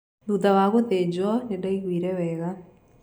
Thutha wa gũthĩnjwo nĩ ndaiguire wega.